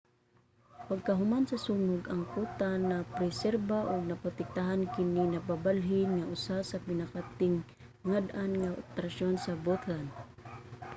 pagkahuman sa sunog ang kuta napreserba ug naprotektahan kini nagpabilin nga usa sa pinakatingad-an nga atraksyon sa bhutan